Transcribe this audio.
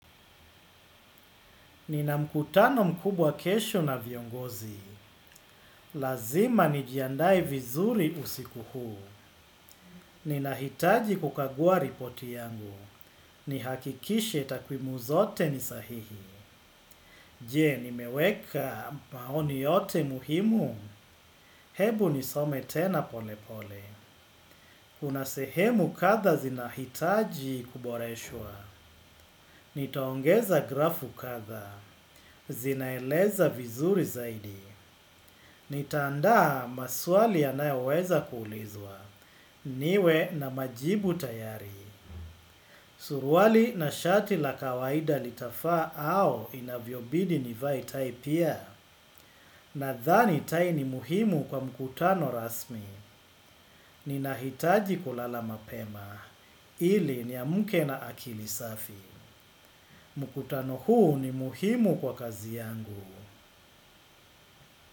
Nina mkutano mkubwa kesho na viongozi. Lazima nijiandae vizuri usiku huu. Ninahitaji kukagua ripoti yangu. Ni hakikishe takwimu zote ni sahihi. Je, nimeweka maoni yote muhimu? Hebu nisome tena pole pole. Kuna sehemu kadha zinahitaji kuboreshwa. Nitaongeza grafu kadha. Zinaeleza vizuri zaidi. Nitaanda maswali yanayoweza kuulizwa. Niwe na majibu tayari. Suruali na shati la kawaida litafa au inavyo bidi nivae tai pia. Nadhani tai ni muhimu kwa mkutano rasmi. Ninahitaji kulala mapema ili ni amke na akili safi. Mkutano huu ni muhimu kwa kazi yangu.